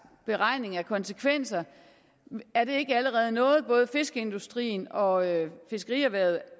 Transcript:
beregning af konsekvenser er det ikke allerede noget som både fiskeindustrien og fiskerierhvervet